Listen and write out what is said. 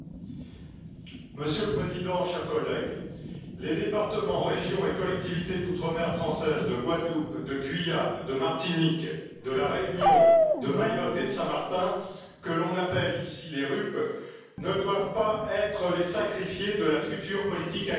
Monsieur le Président, chers collègues, les départements, régions et collectivités d'outre mer françaises de Guadeloupe, de Guyane, de Martinique, de la Réunion, de Mayotte et de Saint Martin, que l'on appelle ici les RUP, ne doivent pas être les sacrifiés de la future politique agricole commune.